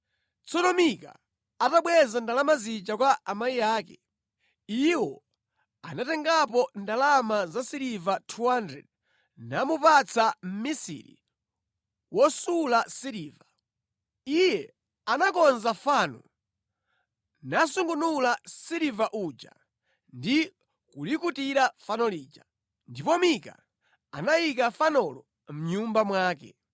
Tsono Mika atabweza ndalama zija kwa amayi ake, iwo anatengapo ndalama za siliva 200 namupatsa mmisiri wosula siliva. Iye anakonza fano, nasungunula siliva uja ndi kulikutira fano lija. Ndipo Mika anayika fanolo mʼnyumba mwake.